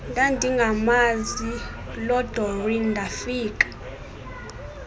ndandingamazi lodoreen ndafika